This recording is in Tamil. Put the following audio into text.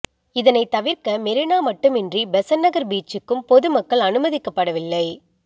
இதனை தவிர்க்க மெரினா மட்டுமின்றி பெசண்ட் நகர் பீச்சுக்கும் பொதுமக்கள் அனுமதிக்கப்படவில்லை